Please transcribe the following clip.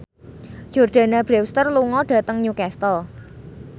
Jordana Brewster lunga dhateng Newcastle